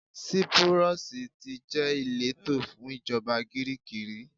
Sípúrọ́sì tí jẹ́ ìletò fún ìjọba Gíríìkì rí.